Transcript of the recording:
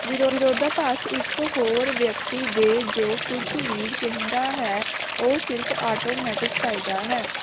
ਵਿਰੋਧਾਭਾਸ ਇਕ ਹੋਰ ਵਿਅਕਤੀ ਦੇ ਜੋ ਕੁਝ ਵੀ ਕਹਿੰਦਾ ਹੈ ਉਹ ਸਿਰਫ ਆਟੋਮੈਟਿਕ ਫਾਇਦਾ ਹੈ